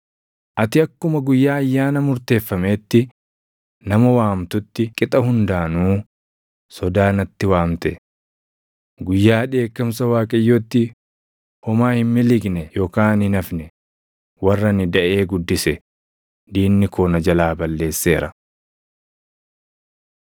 “Ati akkuma guyyaa ayyaana murteeffameetti nama waamtutti qixa hundaanuu sodaa natti waamte. Guyyaa dheekkamsa Waaqayyootti, homaa hin miliqne yookaan hin hafne; warra ani daʼee guddise diinni koo na jalaa balleesseera.”